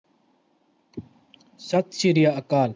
ਸਤਿ ਸ਼੍ਰੀਆ ਕਾਲ